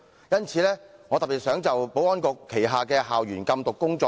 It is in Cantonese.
因此，我特別想討論保安局的校園禁毒工作。